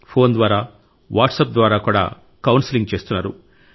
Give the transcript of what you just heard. phone ద్వారా WhatsApp ద్వారా కూడా కౌన్సెలింగ్ చేస్తున్నారు